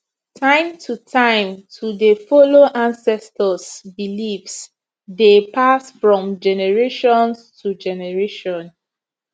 time to time to dey follow ancestors beliefs dey pass from generations to generation